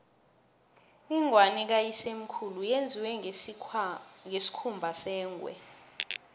ingwani kayisemkhulu yenziwe ngesikhumba sengwe